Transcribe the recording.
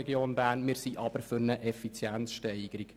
Wir sind für eine Effizienzsteigerung.